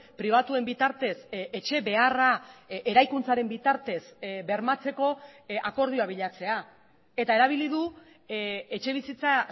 pribatuen bitartez etxe beharra eraikuntzaren bitartez bermatzeko akordioa bilatzea eta erabili du etxebizitza